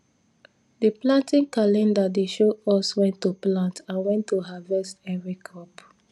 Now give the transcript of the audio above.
the planting calendar dey show us when to plant and when to harvest every crop